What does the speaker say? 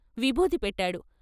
విభూది పెట్టాడు.